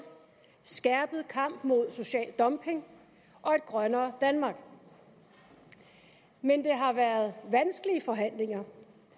skærpet kamp mod social dumping og et grønnere danmark men det har været vanskelige forhandlinger